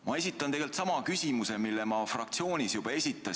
Ma esitan sama küsimuse, mille ma fraktsioonis juba esitasin.